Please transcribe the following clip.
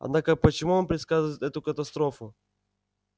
однако почему он предсказывает эту катастрофу